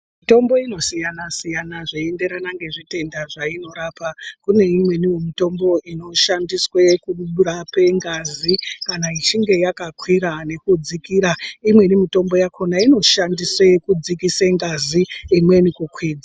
Mitombo inosiyana siyana zveienderana ngezvitenda zvainorapa kune imweniwo mitombo inoshandiswe kurape ngazi kana ichinge yakakwira nekudzikira imweni mitombo yakhona inoshandise kudzikise ngazi imweni kukwidza.